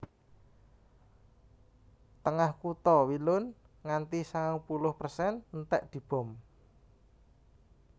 Tengah kutha Wielun nganti sangang puluh persen entèk dibom